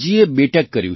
નિમિતજીએ બી